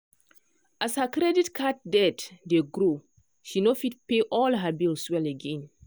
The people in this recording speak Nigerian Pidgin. as her credit card debt dey grow she no fit pay all her bills well again.